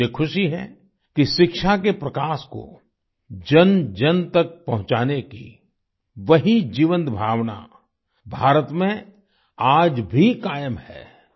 मुझे खुशी है कि शिक्षा के प्रकाश को जनजन तक पहुंचाने की वही जीवंत भावना भारत में आज भी कायम है